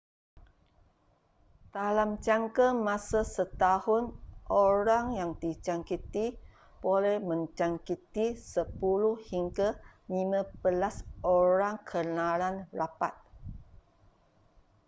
dalam jangka masa setahun orang yang dijangkiti boleh menjangkiti 10 hingga 15 orang kenalan rapat